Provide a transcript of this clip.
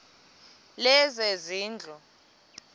lezezindlu